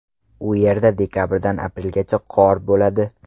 U yerda dekabrdan aprelgacha qor bo‘ladi.